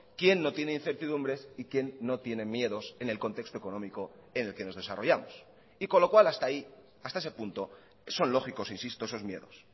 quién no tiene incertidumbres y quién no tiene miedos en el contexto económico en el que nos desarrollamos y con lo cual hasta ahí hasta ese punto son lógicos insisto esos miedos